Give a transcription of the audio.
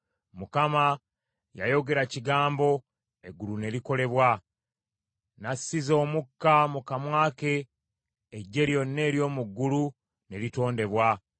Mukama yayogera kigambo, eggulu ne likolebwa; n’assiza omukka mu kamwa ke eggye lyonna ery’omu ggulu ne litondebwa.